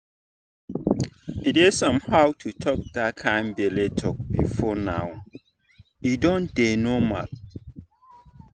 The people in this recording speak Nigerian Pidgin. e dey somehow to talk that kind belle talk before but now e don dey normal.